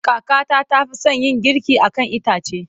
Kakata ta fi son yin girki a kan itace.